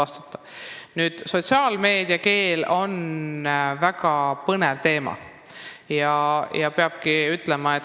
Sotsiaalmeedias kasutatav keel on väga põnev teema.